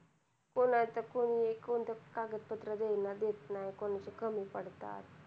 कोणाचं कोणी कोणतं कागदपत्र वेळेला नाय भेटणार, कोणाचं कमी पडतात.